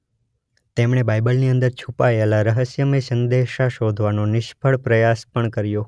તેમણે બાઇબલની અંદર છુપાયેલા રહસ્યમય સંદેશા શોધવાનો નિષ્ફળ પ્રયાસ પણ કર્યો.